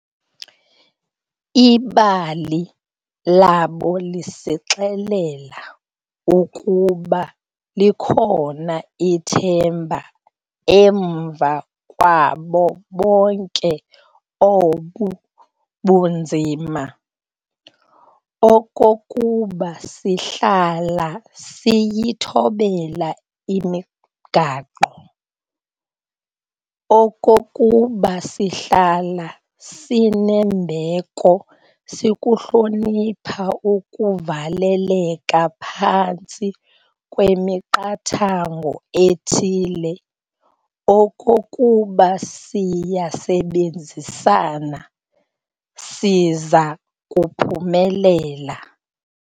Ibali labo lisixelela ukuba likhona ithemba emva kwabo bonke obu bunzima, okokuba sihlala siyithobela imigaqo, okokuba sihlala sinembeko sikuhlonipha ukuvaleleka phantsi kwemiqathango ethile, okokuba siyasebenzisana, siza kuphumelela.